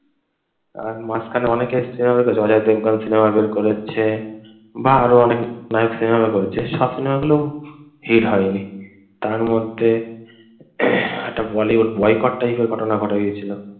আর মাঝখানে অনেকে সিনেমা বের করেছে, অজয় দেবগান সিনেমা বের করেছে বা আরও অনেক নায়ক সিনেমা বের করেছে। সব সিনেমাগুলো হিট হয়নি। তার মধ্যে একটা বলিউড বয়কট type এর ঘটনা ঘটে গিয়েছিল।